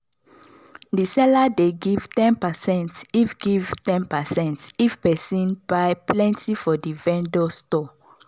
the seller dey give ten percent if give ten percent if person buy plenty for the vendor store